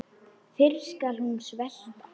Fyrr skal hún svelta.